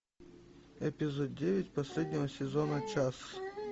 эпизод девять последнего сезона час